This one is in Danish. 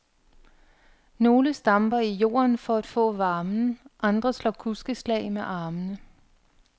Nogle stamper i jorden for at få varmen, andre slår kuskeslag med armene.